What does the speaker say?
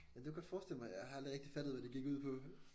Ja det godt jeg forestille mig jeg har aldrig fattet hvad det gik ud på